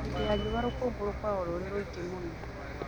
Hĩndĩ ya riua rũkũngũ rũkoragwo rũrĩ rũingĩ mũno